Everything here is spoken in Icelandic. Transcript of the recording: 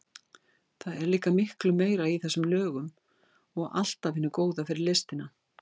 Það er líka miklu meira í þessum lögum og allt af hinu góða fyrir listina.